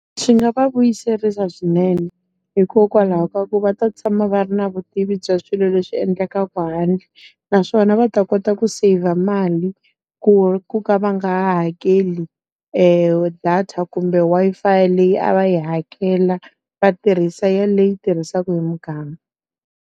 Swi nga va vuyiserisa swinene. Hikokwalaho ka ku va ta tshama va ri na vutivi bya swilo leswi endlekaka handle, naswona va ta kota ku saver mali, ku ka va nga ha hakeli data kumbe Wi-Fi leyi a va yi hakela. Va tirhisa yaleyi tirhisaka hi muganga.